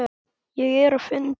Ég er á fundi